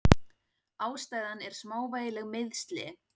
Ástæðan er smávægileg meiðsli.